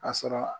A sɔrɔ